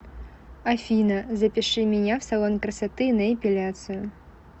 афина запиши меня в салон красоты на эпиляцию